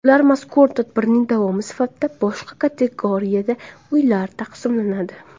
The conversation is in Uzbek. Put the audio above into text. Ularga mazkur tadbirning davomi sifatida boshqa kategoriyada uylar taqsimlanadi.